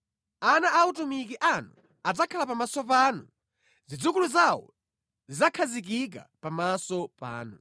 Ana a atumiki anu adzakhala pamaso panu; zidzukulu zawo zidzakhazikika pamaso panu.”